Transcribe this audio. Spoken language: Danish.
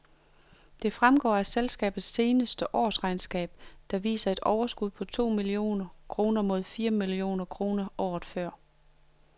Det fremgår af selskabets seneste årsregnskab, der viser et overskud på to millioner kroner mod fire millioner kroner året før.